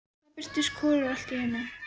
Þá birtist Kolur allt í einu.